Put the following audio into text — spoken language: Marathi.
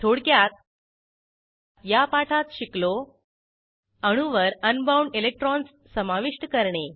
थोडक्यात या पाठात शिकलो अणूवर अनबाउंड इलेक्ट्रॉन्स समाविष्ट करणे